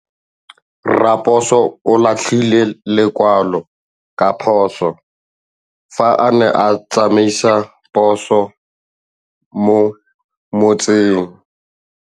Raposo o latlhie lekwalô ka phosô fa a ne a tsamaisa poso mo motseng.